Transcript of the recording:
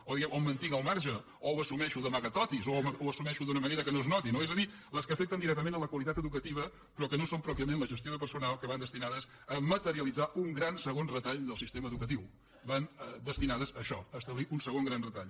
o diguem o em mantinc al marge o ho assumeixo d’amagatotis o ho assumeixo d’una manera que no es noti no és a dir les que afecten directament la qualitat educativa però que no són pròpiament la gestió de personal que van destinades a materialitzar un gran segon retall del sistema educatiu van destinades a això a establir un segon gran retall